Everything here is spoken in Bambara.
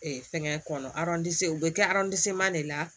fɛnkɛ kɔnɔ u bɛ kɛ de la